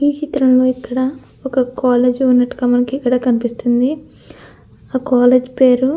ఈ చిత్రంలో ఇక్కడ ఒక కాలేజ్ ఉన్నట్టుగా కనిపిస్తుంది. ఆ కాలేజ్ పేరు--